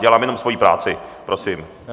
Dělám jenom svoji práci, prosím.